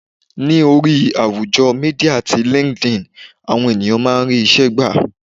Ní orí àwùjọ Mídíà ti LinkedIn, àwọn ènìyàn máa ń rí isẹ gbà.